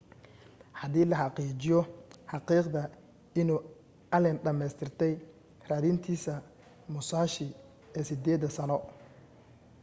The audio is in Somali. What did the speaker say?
hadii la xaqiijiyo xaqiiqda inuu allen dhameystirtay raadintiisa musashi ee sideeda-sano